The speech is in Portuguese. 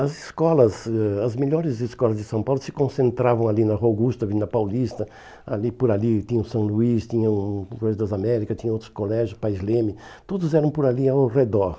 As escolas, ãh as melhores escolas de São Paulo se concentravam ali na Rua Augusta, na Avenida Paulista, ali por ali tinha o São Luís, tinha o o Correio das Américas, tinha outros colégios, Pais Leme, todos eram por ali ao redor.